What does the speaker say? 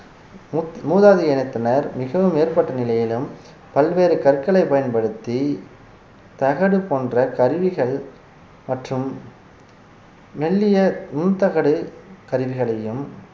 மூத்~ மூதாதைய இனத்தினர் மிகவும் மேற்பட்ட நிலையிலும் பல்வேறு கற்களை பயன்படுத்தி தகடு போன்ற கருவிகள் மற்றும் மெல்லிய நுண்தகடு கருவிகளையும்